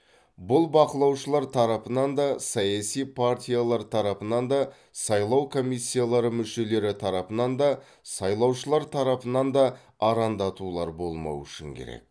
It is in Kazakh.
бұл бақылаушылар тарапынан да саяси партиялар тарапынан да сайлау комиссиялары мүшелері тарапынан да сайлаушылар тарапынан да арандатулар болмауы үшін керек